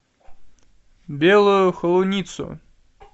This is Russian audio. белую холуницу